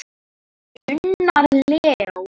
Unnar Leó.